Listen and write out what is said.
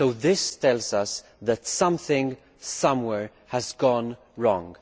This tells us that something, somewhere, has gone wrong.